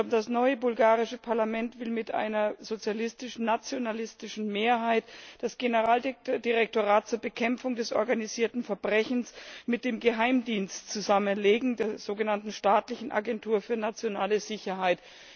Das neue bulgarische Parlament will mit einer sozialistisch nationalistischen Mehrheit das Generaldirektorat zur Bekämpfung des organisierten Verbrechens mit dem Geheimdienst zusammenlegen, der sogenannten Staatlichen Agentur für Nationale Sicherheit.